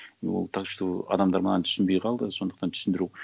и ол так что адамдар маған түсінбей қалды сондықтан түсіндіру